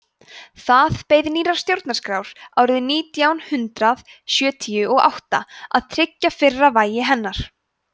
það beið nýrrar stjórnarskrár árið nítján hundrað sjötíu og átta að tryggja fyrra vægi hennar